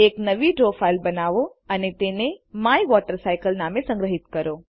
એક નવી draw file બનાવો અને તેને માયવોટરસાયકલ નામે સંગ્રહિત કરો